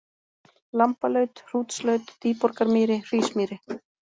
Lambalaut, Hrútslaut, Dýborgarmýri, Hrísmýri